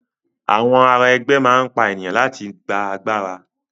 Àwọn ará ẹgbẹ́ máa n pa ènìyàn láti gbà agbára.